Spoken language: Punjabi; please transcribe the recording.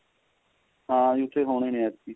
ਹਾਂਜੀ ਉੱਥੇ ਹੋਣੇ ਏ ਐਤਕੀ